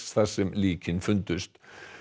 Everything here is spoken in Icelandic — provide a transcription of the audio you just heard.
þar sem líkin fundust